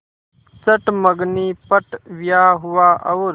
चट मँगनी पट ब्याह हुआ और